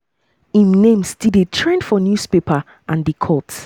im name still dey trend for newspaper and di courts.